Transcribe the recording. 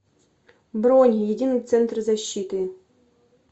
бронь единый центр защиты